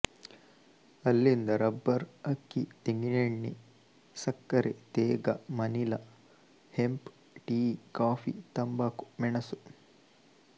ಅಲ್ಲಿಂದ ರಬ್ಬರ್ ಅಕ್ಕಿ ತೆಂಗಿನೆಣ್ಣೆ ಸಕ್ಕರೆ ತೇಗ ಮನಿಲ ಹೆಂಪ್ ಟೀ ಕಾಫಿ ತಂಬಾಕು ಮೆಣಸು